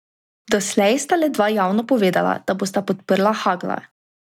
Doslej sta le dva javno povedala, da bosta podprla Hagla.